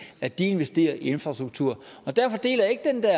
at de investerer i infrastruktur og derfor deler jeg ikke den der